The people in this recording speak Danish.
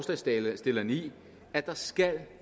forslagsstillerne i at der skal